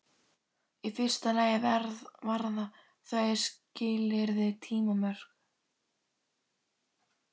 Í fyrsta lagi varða þau skilyrði tímamörk.